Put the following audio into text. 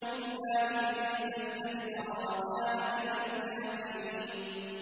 إِلَّا إِبْلِيسَ اسْتَكْبَرَ وَكَانَ مِنَ الْكَافِرِينَ